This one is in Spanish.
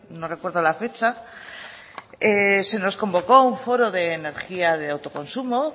no recuerdo la fecha se nos convocó a un foro de energía de autoconsumo